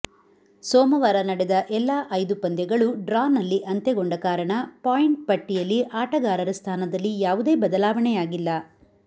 ಸೋಮವಾರ ನಡೆದ ಎಲ್ಲಾ ಐದು ಪಂದ್ಯಗಳೂ ಡ್ರಾನಲ್ಲಿ ಅಂತ್ಯಗೊಂಡ ಕಾರಣ ಪಾಯಿಂಟ್ ಪಟ್ಟಿಯಲ್ಲಿ ಆಟಗಾರರ ಸ್ಥಾನದಲ್ಲಿ ಯಾವುದೇ ಬದಲಾವಣೆಯಾಗಿಲ್ಲ